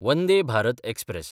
Vande Bharat express